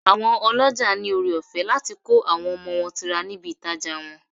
Àwọn ọlọ́jà ní ọrẹ ọ̀fẹ́ láti kó àwọn ọmọ wọn tira níbi ìtajà wọn.